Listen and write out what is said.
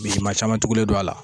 Misima caman tugulen don a la